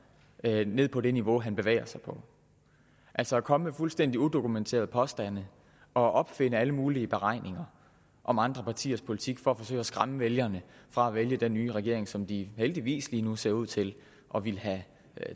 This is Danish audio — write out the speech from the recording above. ned på det niveau han bevæger sig på altså at komme med fuldstændig udokumenterede påstande og opfinde alle mulige beregninger om andre partiers politik for at forsøge at skræmme vælgerne fra at vælge den nye regering som de heldigvis lige nu ser ud til at ville have